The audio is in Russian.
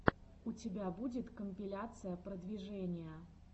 у тебя будет компиляция продвижения